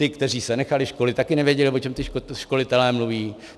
Ti, kteří se nechali školit, také nevěděli, o čem ti školitelé mluví.